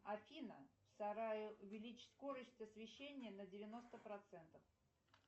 афина в сарае увеличить скорость освещения на девяносто процентов